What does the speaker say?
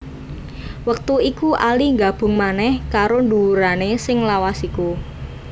Wektu iku Ali nggabung manèh karo nduwurané sing lawas iku